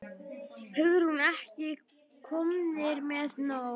Hugrún: Ekki komnir með nóg?